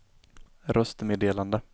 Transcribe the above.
röstmeddelande